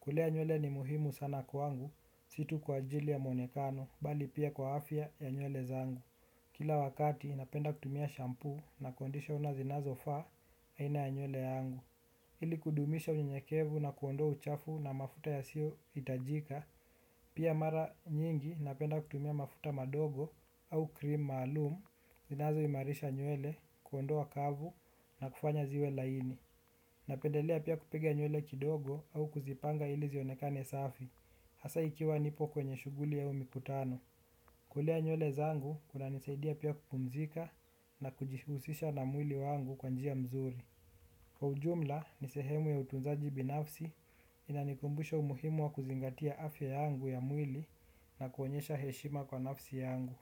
Kulea nywele ni muhimu sana kwangu. Si tu kwa ajili ya muonekano bali pia kwa afya ya nywele zangu. Kila wakati napenda kutumia shampoo na conditioner zinazofaa aina ya nywele yangu. Ili kudumisha unyenyekevu na kuondoa uchafu na mafuta yasiyo hitajika, pia mara nyingi napenda kutumia mafuta madogo au cream maalum, zinazo imarisha nywele kuondoa kavu na kufanya ziwe laini. Napendelea pia kupiga nywele kidogo au kuzipanga ili zionekane safi, hasa ikiwa nipo kwenye shughuli au mikutano. Kulea nywele zangu, kunanisaidia pia kupumzika na kujihusisha na mwili wangu kwa njia mzuri. Kwa ujumla ni sehemu ya utunzaji binafsi inanikumbusha umuhimu wa kuzingatia afya yangu ya mwili na kuonyesha heshima kwa nafsi yangu.